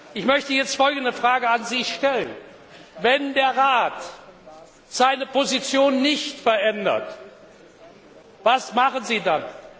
Ich möchte jetzt folgende Frage an Sie stellen Wenn der Rat seine Position nicht verändert, was machen Sie dann?